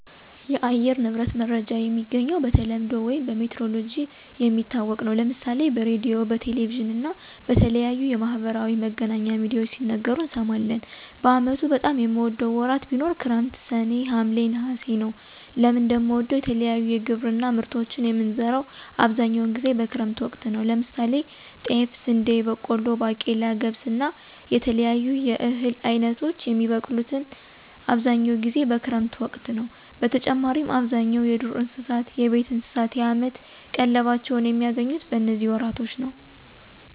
የአየር ንብረት መረጃ የሚገኘው በተለምዶ ውይም በሜትሮሎጅ የሚታወቅ ነው። ለምሳሌ በሬድዮ፣ በቴሌቪዥን እና በተለያዩ የማህበራዊ መገናኛ ሚድያዎች ሲነገሩ እንሰማለን። በአመቱ በጣም የምወደው ወራት ቢኖር ክረምት ሰኔ፣ ሀምሌ፣ ነሐሴ ነወ። ለምን እንደምወደው የተለያዩ የግብርና ምርቶችን የምንዘራው አብዛኛውን ጊዜ በክረምት ወቅት ነው። ለምሳሌ ጤፍ፣ ስንዴ፣ በቆሎ፣ ባቄላ፣ ገብስ እና የተለያዩ የእህል አይነቶች የሚበቅሉት አብዛኛውን ጊዜ በክረምት ወቅት ነዉ። በተጨማሪም አብዛኛው የዱር እንስሳት፣ የቤት እንስሳት የአመት ቀለባቸውን የሚያገኙት በነዚህ ወራቶች ነው።